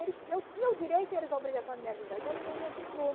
Eles eu tinha o direito e eles a obrigação de me avisar, então ninguém me avisou.